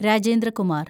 Rajendra Kumar